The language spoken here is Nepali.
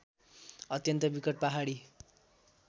अत्यन्त विकट पहाडी